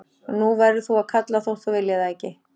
Og nú verður þú að kalla þótt þú viljir það ekki.